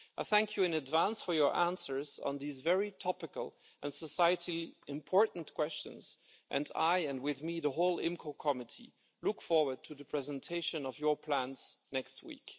I thank you in advance for your answers on these very topical and societally important questions and I, and with me the whole IMCO Committee, look forward to the presentation of your plans next week.